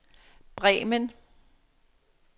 Bremen